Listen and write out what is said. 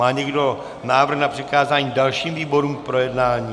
Má někdo návrh na přikázání dalším výborům k projednání?